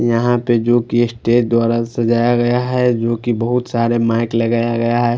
यहा पे जो केसटे दुआरा सजाया गया है जो की बहुत सारे माइक लगाया गया है।